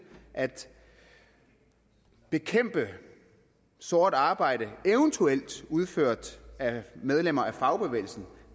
at bekæmpe sort arbejde eventuelt udført af medlemmer af fagbevægelsen